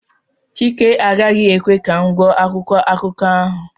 chike agaghị ekwe ka m gụọ akwụkwọ akụkọ ahụ